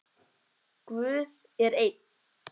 Guð er einn.